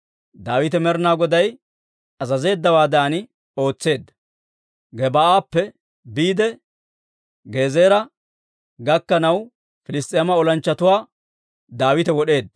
Daawite Med'inaa Goday azazeeddawaadan ootseedda; Gebaa'appe biide Gezeera gakkanaw, Piliss's'eema olanchchatuwaa Daawite wod'eedda.